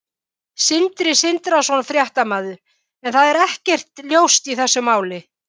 Sindri Sindrason, fréttamaður: En það er ekkert ljóst í þessu máli?